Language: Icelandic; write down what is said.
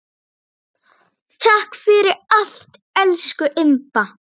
Takk fyrir allt, elsku Imba.